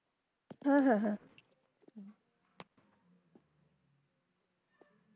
হ্যাঁ হ্যাঁ হ্যাঁ।